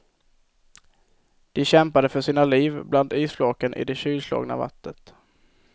De kämpade för sina liv bland isflaken i det kylslagna vattnet.